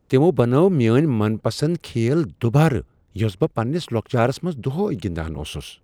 تمو بنٲو میٲنۍ من پسند کھیل دوبارٕ یۄسہٕ بہٕ پننِس لوكچارس منٛز دۄہے گندان اوسُس ۔